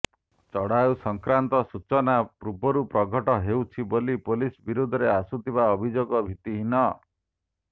ଚଢ଼ଉ ସଂକ୍ରାନ୍ତ ସୂଚନା ପୂର୍ବରୁ ପ୍ରଘଟ ହେଉଛି ବୋଲି ପୁଲିସ ବିରୋଧରେ ଆସୁଥିବା ଅଭିଯୋଗ ଭିତ୍ତିହୀନ